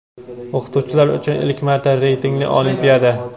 O‘qituvchilar uchun ilk marta reytingli olimpiada!.